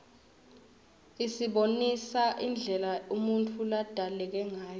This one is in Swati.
isibonisa indlela umuntfu ladalekangayo